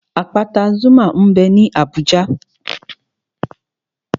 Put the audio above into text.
Àpáta Zuma m bẹ ní Abùjá